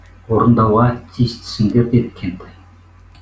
орындауға тиістісіңдер деді кентай